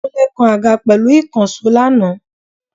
Kúnlé kan àga pẹ̀lú ìkànsó lana